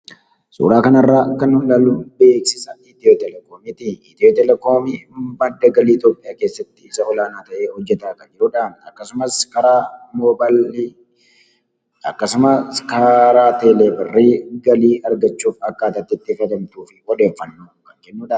Suuraa kana irraa kan nuti ilaallu, beeksisa Itiyootelekoomiiti. Itiyootelekoomiin madda galii Itoophiyaa keessatti isa olaanaa ta'ee hojjetaa kan jirudhaa akksumas karaa moobaayil birrii akkasumas karaa teleebirrii argachuuf akkaataa karaa galii itti argachuuf odeeffannoo kan kennudha.